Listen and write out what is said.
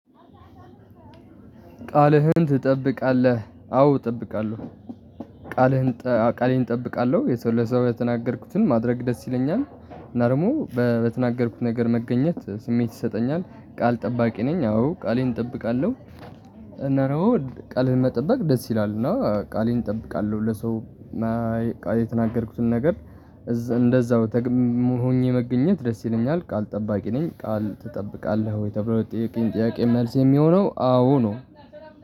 ቃልህን ትጠብቃለህ አዎ እጠብቃለሁ ቃሌን እጠብቃለሁ የሰው ለሰው የተናገርኩትን ማድረግ ደስ ይለኛል። እና ደግሞ በተናገርኩት ነገር መገኘት ስሜት ይሰጠኛል ቃል ጠባቂ ነኝ። አዎ ቃሌን እጠብቃለሁ። እና ደግሞ ቃልህን መጠበቅ ደስ ይላል እና ቃሌን እጠብቃለሁ ለሰው የተናገርኩትን ነገር እንደዛው ሆኜ መገኘት ደስ ይለኛል። ቃል ጠባቂ ነኝ። ቃል ትጠብቃለህ ወይ? ተብሎ ለጠየከኝ ጠያቂ መልስ የሚሆነው አዎ ነው።